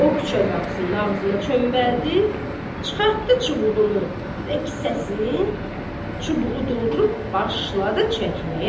Və o küçə qapısının ağzına çöməldi, çıxartdı çubuğunu və kisəsini, çubuğu doldurub başladı çəkməyə.